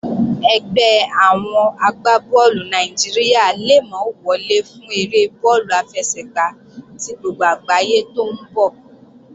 Ẹgbẹ́ àwọn agbá bọ́ọ̀lù Nàìjíríà le mọ́ wọlé fún eré bọ́ọ̀lù àfẹsẹ̀gbá tí gbogbo àgbáyé tó ń bọ̀